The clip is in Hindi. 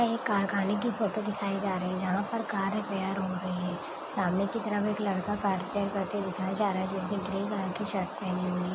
एक कारखाने की फोटो दिखाई जा रही है जहाँ पर कार रिपेयर हो रही है सामने की तरफ एक लड़का कार रिपेयर करते हुए दिखाई जा रहा है जिसने ग्रे कलर की शर्ट पहनी हुई है।